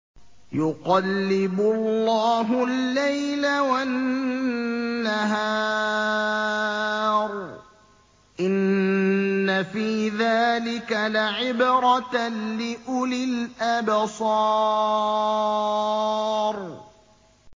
يُقَلِّبُ اللَّهُ اللَّيْلَ وَالنَّهَارَ ۚ إِنَّ فِي ذَٰلِكَ لَعِبْرَةً لِّأُولِي الْأَبْصَارِ